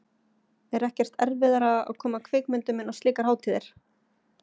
Er ekkert erfiðara að koma kvikmyndum inn á slíkar hátíðir?